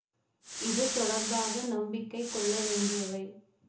இது தொடர்பாக நம்பிக்கை கொள்ள வேண்டியவை